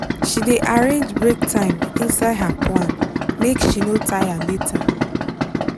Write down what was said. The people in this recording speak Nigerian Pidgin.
she dey arrange break time inside her plan make she no tire later.